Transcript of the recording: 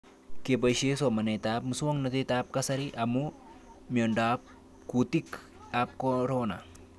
Kepoishe somanet ab muswognatet ab kasari amu miondop kutik ab korona